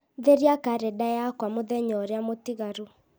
theria karenda yakwa mũthenya ũrĩa mũtigaru